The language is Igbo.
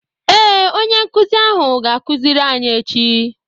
Ee, onye nkuzi ahụ ga-akuziri anyị echi